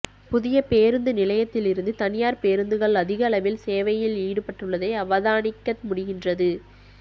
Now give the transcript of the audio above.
புதிய பேருந்து நிலையத்திலிருந்து தனியார் பேருந்துகள் அதிகளவில் சேவையில் ஈடுபட்டுள்ளதை அவதானிக்க முடிகின்றது